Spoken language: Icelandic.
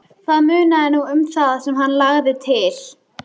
Það munaði nú um það sem hann lagði til.